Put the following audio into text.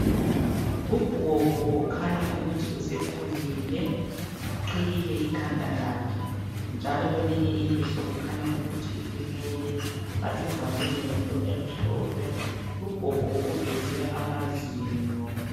Ugogo okhanya ukuthi usekhulile uqhiyile ikhanda lakhe njalo kweelinye ilihlo kukhanya ukuthi ulimele. Balivalile ngento emhlophe. Ugogo uveze amazinyo.